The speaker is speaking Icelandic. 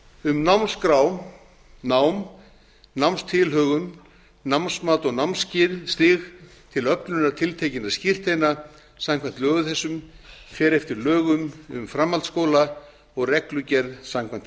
um námskrá nám námstilhögun námsmat og námsstig til öflunar tiltekinna skírteina samkvæmt lögum þessum fer eftir lögum um framhaldsskóla og reglugerð samkvæmt